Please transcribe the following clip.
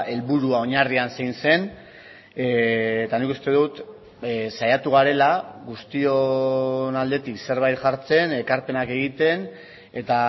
helburua oinarrian zein zen eta nik uste dut saiatu garela guztion aldetik zerbait jartzen ekarpenak egiten eta